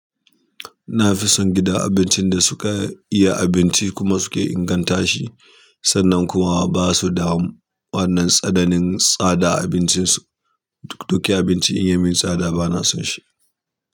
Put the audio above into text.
Na fi son gidan abincin da suke iya abinci kuma suke inganta shi, sannan kuma ba su da wannan tsananin tsada a abincinsu. Duk kyan abinci in ya min sada ba na son shi.